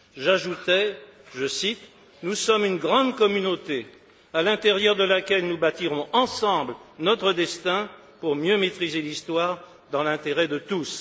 J'ajoutais, je cite Nous sommes une grande communauté, à l'intérieur de laquelle nous bâtirons ensemble notre destin pour mieux maîtriser l'histoire, dans l'intérêt de tous.